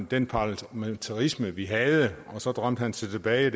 den parlamentarisme vi havde og så drømte han sig tilbage